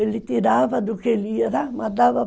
Ele tirava do que ele ia, mandava